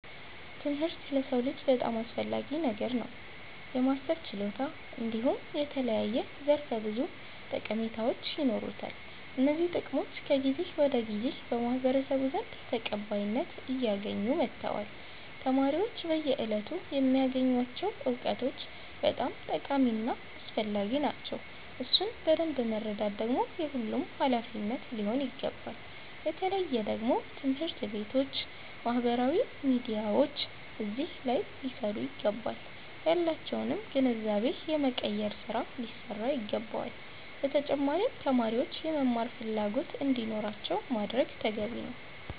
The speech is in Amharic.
ትምህርት ለሰዉ ልጅ በጣም አስፈላጊ ነገር ነዉ። የማሰብ ችሎታ እንዲሁም የተለያዩ ዘርፈ ብዙ ጠቀሜታዎች ይኖሩታል። እነዚህ ጥቅሞች ከጊዜ ወደ ጊዜ በማህበረሰቡ ዘንድ ተቀባይነት አያገኙ መተዋል። ተማሪዎች በየእለቱ የሚያገኙቸዉ እዉቀቶች በጣም ጠቃሚ እና አስፈላጊዎች ናቸዉ። እሱን በደምብ መረዳት ደግሞ የሁሉም ሃላፊነት ሊሆን ይገባል። በተለየ ደግሞ ትምህርት ቤቶች ባህበራዊ ሚዲያዎች አዚህ ሊሰሩ ይገባቸዋል። ያላቸዉንም ግንዛቤ የመቀየር ስራ ሊሰራ ይገባዋል። በተጫማሪም ተማሪዎች የመማር ፈላጎት እንዲኖራቸዉ ማድረግ ተገቢ ነዉ።